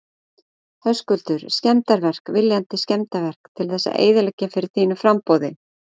Höskuldur: Skemmdarverk, viljandi skemmdarverk til þess að eyðileggja fyrir þínu framboði?